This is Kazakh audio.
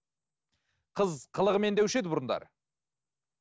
қыз қылығымен деуші еді бұрындары